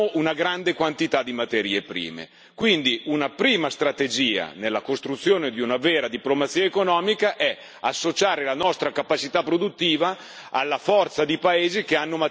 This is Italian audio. Quindi, una prima strategia nella costruzione di una vera diplomazia economica è associare la nostra capacità produttiva alla forza di paesi che hanno materie prime e con loro procedere a braccetto.